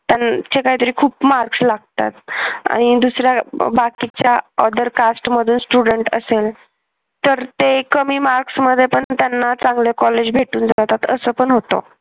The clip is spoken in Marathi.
त्यांचे काही तरी खूप marks लागतात आणि दुसर बाकीच्या other cast मधून student असेल तर ते कमी marks मध्ये पण त्यांना चांगल्या कॉलेज भेटून जातात असं पण होत.